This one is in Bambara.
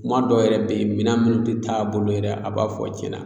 Kuma dɔw yɛrɛ be yen minɛn minnu te t'a bolo yɛrɛ a b'a fɔ cɛn na